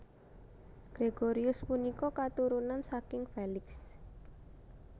Gregorius punika katurunan saking Felix